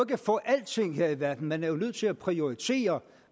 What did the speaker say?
kan få alting her i verden at man jo er nødt til at prioritere